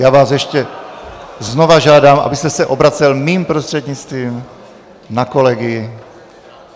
Já vás ještě znova žádám, abyste se obracel mým prostřednictvím na kolegy.